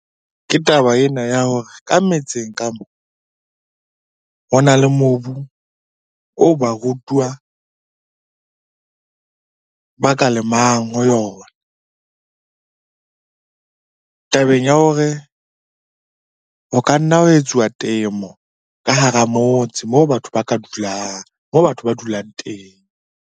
Ke taba ena ya hore ka metseng ka moo ho na le mobu oo ba rutuwa ba ka lemang ho yona. Tabeng ya hore ho ka nna ha etsuwa temo ka hara motse moo batho ba ka dulang, moo batho ba dulang teng.